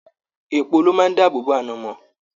Èèpo lo máa dáàbò bò anamọ.